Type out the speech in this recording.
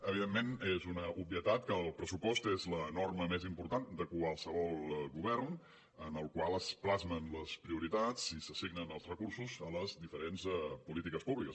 evidentment és una obvietat que el pressupost és la norma més important de qualsevol govern en el qual es plasmen les prioritats i s’assignen els recursos a les diferents polítiques públiques